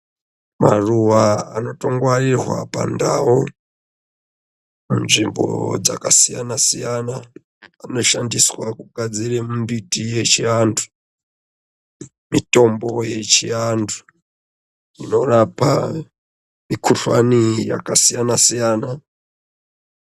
Maruwa anotongwarirwa pandau, panzvimbo dzakasiyana siyana anoshandiswe kugadzire mimbiti yechiantu, mitombo yechiantu inorapa mikhuhlani yakasiyana siyana.